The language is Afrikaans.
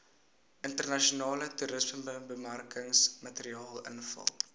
internasionale toerismebemarkingsmateriaal invul